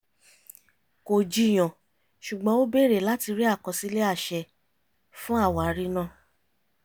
kò jiyàn ṣùgbọ́n ó bèrè láti rí àkọsílẹ̀ àṣẹ fún àwárí náà